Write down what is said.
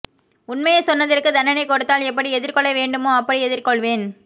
உண்மையை சொன்னதற்கு தண்டனை கொடுத்தால் எப்படி எதிர்கொள்ள வேண்டுமோ அப்படி எதிர்கொள்வேன்